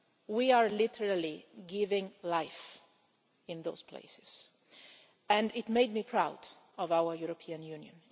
We are literally giving life in those places, and it made me proud of our European Union.